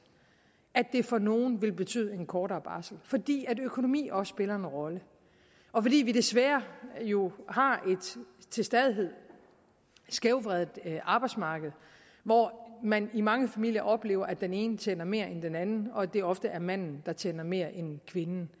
at det for nogle vil betyde en kortere barsel fordi økonomi også spiller en rolle og fordi vi desværre jo har et til stadighed skævvredet arbejdsmarked hvor man i mange familier oplever at den ene tjener mere end den anden og at det ofte er manden der tjener mere end kvinden